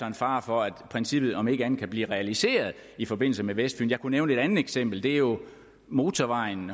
en fare for at princippet om ikke andet kan blive realiseret i forbindelse med vestfyn jeg kunne nævne et andet eksempel det er jo motorvejen